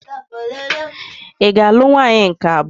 Ị ga-alụ nwaanyị nke abụọ.